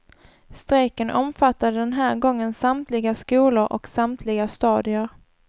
Strejken omfattade den här gången samtliga skolor och samtliga stadier.